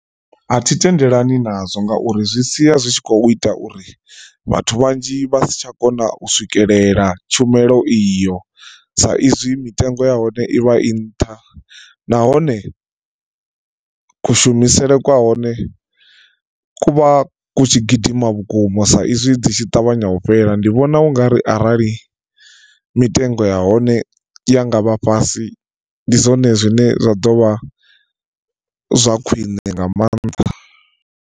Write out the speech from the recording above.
A thi tendelani nazwo ngauri zwi sia zwi tshi khou ita uri vhathu vhanzhi vha si tsha kona u swikelela tshumelo iyo sa izwi mitengo ya hone i vha i nṱha nahone, kushumisele kwa hone ku vha ku tshi gidima vhukuma sa izwi dzi tshi ṱavhanya u fhela ndi vhona ungari arali mitengo ya hone ya ngavha fhasi ndi zwone zwine zwa dovha zwa khwine nga maanḓa.